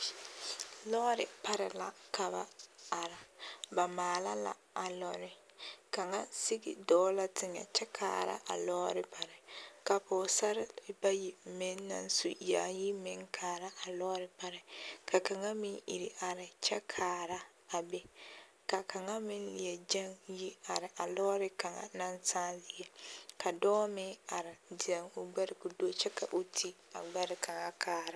Lɔɔre pare la ka ba are, ba maala la a lɔɔre, kaŋa sigi dɔɔ la teŋɛ kyɛ kaara a lɔɔre pare, ka pɔgesarre bayi meŋ naŋ su yaayi meŋ kaara a lɔɔre pare ka kaŋa meŋ iri are kyɛ kaara a be ka kaŋa meŋ leɛ gɛŋ yi are a lɔɔre kaŋa naŋ sãã zie ka dɔɔ meŋ are zɛŋ o gbɛre ka o do kyɛ ka o ti a gbɛre kaŋa kaara.